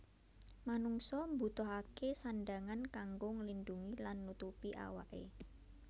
Manungsa mbutuhaké sandhangan kanggo nglindhungi lan nutupi awaké